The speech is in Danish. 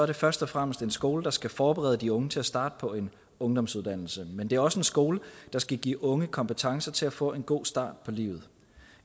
det først og fremmest en skole der skal forberede de unge til at starte på en ungdomsuddannelse men det er også en skole der skal give unge kompetencer til at få en god start på livet